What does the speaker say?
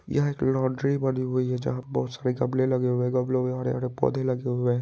यह एक लांड्री बनी हुई है जहाँ बहुत सारे गमले लगे हुए हैं गमलों में हरे-हरे पौधे लगे हुए हैं।